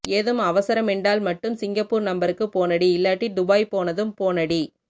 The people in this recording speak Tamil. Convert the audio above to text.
ஏதும் அவசரமெண்டால் மட்டும் சிங்கப்பூர் நம்பருக்கு போனடி இல்லாட்டி டுபாய் போனதும் போனடி